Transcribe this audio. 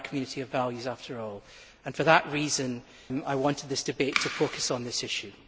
We are a Community of values, after all, and for this reason I wanted this debate to focus on this issue.